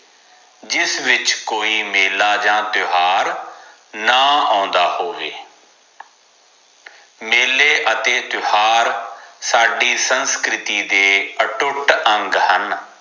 ਜਿਸ ਵਿਚ ਕੋਈ ਮੇਲਾ ਜਾ ਤਿਉਹਾਰ ਨਾ ਆਉਂਦਾ ਹੋਵੇ ਮੇਲੇ ਅਤੇ ਤਿਉਹਾਰ ਸਾਡੀ ਸੰਸਕ੍ਰਿਤੀ ਦੇ ਅਟੁੱਟ ਅੰਗ ਹਨ